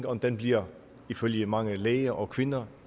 og den bliver ifølge mange læger og kvinder